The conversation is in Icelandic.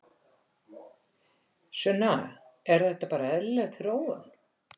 Sunna: Er þetta bara eðlileg þróun?